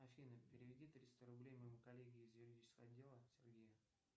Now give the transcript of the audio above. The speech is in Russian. афина переведи триста рублей моему коллеге из юридического отдела сергею